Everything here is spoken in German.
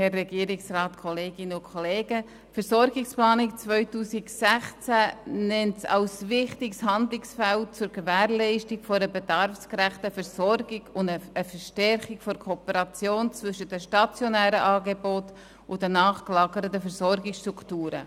Die Versorgungsplanung 2016 nennt ambulante Behandlungsangebote in der Psychiatrie als wichtiges Handlungsfeld zur Gewährleistung einer bedarfsgerechten Versorgung und einer Verstärkung der Kooperation zwischen den stationären Angeboten und den nachgelagerten Versorgungsstrukturen.